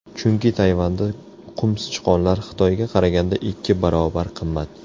Chunki Tayvanda qumsichqonlar Xitoyga qaraganda ikki baravar qimmat.